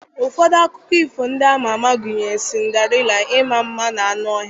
Ụfọdụ akụkọ ifo ndị a ma ama gụnyere Sịnderella, Ịma mma na anụ ọhịa,